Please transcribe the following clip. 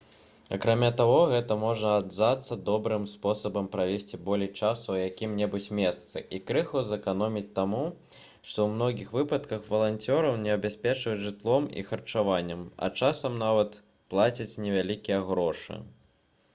акрамя таго гэта можа аказацца добрым спосабам правесці болей часу ў якім-небудзь месцы і крыху зэканоміць таму што ў многіх выпадках валанцёраў забяспечваюць жытлом і харчаваннем а часам нават плацяць невялікія грошы